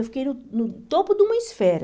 Eu fiquei no no topo de uma esfera.